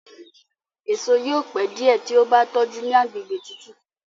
èso yóò pẹ diẹ tí o bá tójú ní àgbègbè tútù.